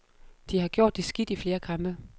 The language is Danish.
De har gjort det skidt i flere kampe.